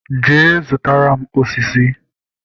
Jee zụtara m osisi!